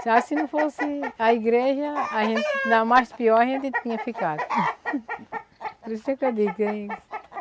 Será se não fosse a igreja, a gente ainda mais pior a gente tinha ficado. Por isso sempre eu digo